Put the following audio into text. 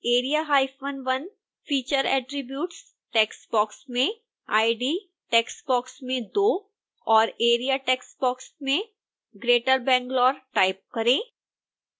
area1 feature attributes text box में id text box में 2 और area टेक्स्ट बॉक्स में greater bangalore टाइप करें